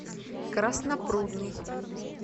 краснопрудный